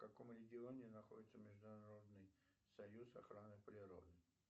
в каком регионе находится международный союз охраны природы